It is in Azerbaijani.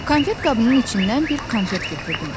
Konfet qabının içindən bir konfet götürdüm.